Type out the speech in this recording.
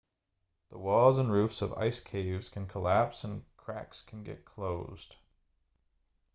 the walls and roofs of ice caves can collapse and cracks can get closed